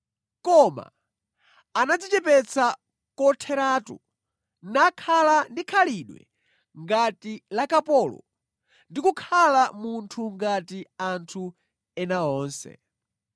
Koma anadzichepetsa kotheratu nakhala ndi khalidwe ngati la kapolo ndi kukhala munthu ngati anthu ena onse.